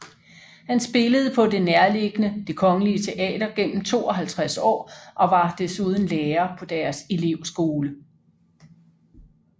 Han spillede på det nærliggende Det Kongelige Teater gennem 52 år og var desuden lærer på deres elevskole